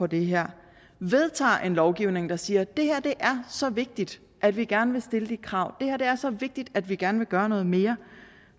det her vedtager en lovgivning der siger det her er så vigtigt at vi gerne vil stille de krav her er så vigtigt at vi gerne vil gøre noget mere